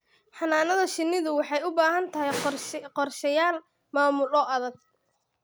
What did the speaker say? Xannaanada shinnidu waxay u baahan tahay qorshayaal maamul oo adag.